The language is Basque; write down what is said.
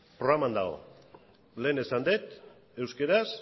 programan dago lehen esan dut euskeraz